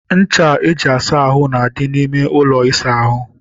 Ncha eji asa ahụ na-adị n'ime ụlọ ịsa ahụ.